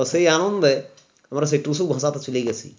তো সেই আনন্দে আমরা সেই টুসু ভাষাতে চলে গেছি